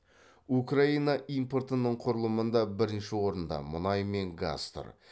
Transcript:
украина импортының құрылымында бірінші орында мұнай мен газ тұр